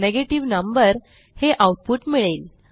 negative number हे output मिळेल